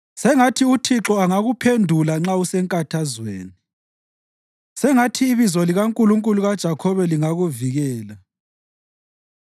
Sengathi uThixo angakuphendula nxa usenkathazweni; sengathi ibizo likaNkulunkulu kaJakhobe lingakuvikela.